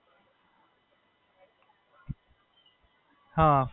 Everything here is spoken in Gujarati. એટલે હું મારા ફોઇ સાથે રહું છું અને મમ્મી એમના મમ્મી ને ત્યાં રહે છે.